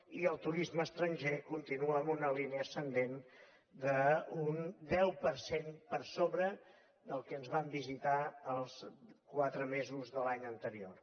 i el turisme estranger continua amb una línia ascendent d’un deu per cent per sobre dels que ens van visitar els quatre mesos de l’any anterior